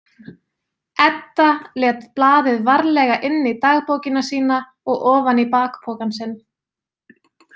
Edda lét blaðið varlega inn í dagbókina sína og ofan í bakpokann sinn.